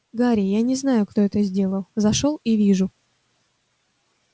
гарри я не знаю кто это сделал зашёл и вижу